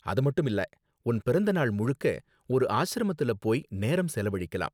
அது மட்டும் இல்ல, உன் பிறந்த நாள் முழுக்க ஒரு ஆஸ்ரமத்துல போய் நேரம் செலவழிக்கலாம்.